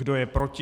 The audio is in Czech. Kdo je proti?